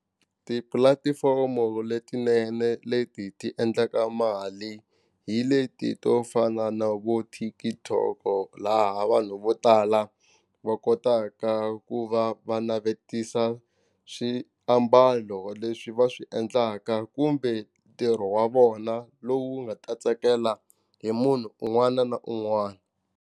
Tipulatifomo letinene leti ti endlaka mali hi leti to fana na vo TikTok laha vanhu vo tala va kotaka ku va va navetisa swiambalo leswi va swi endlaka kumbe ntirho wa vona lowu nga ta tsakela hi munhu un'wana na un'wana.